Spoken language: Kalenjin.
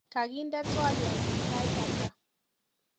Kakindena twoliotnyu sait ata